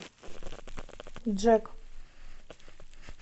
джек